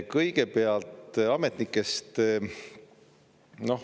Kõigepealt ametnikest.